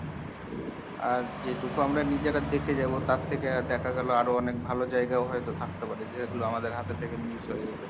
আর যেটুকু আমরা নিজেরা দেখে যাবো তার থেকে দেখা গেল আরো অনেক ভালো জায়গাও হয়ত থাকতে পারে যেগুলো আমাদের হাতে থেকে miss হয়ে যাবে।